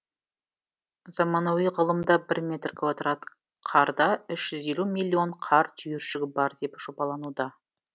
заманауи ғылымда бір метр квадрат қарда үш жүз елу миллион қар түйіршігі бар деп жобалануда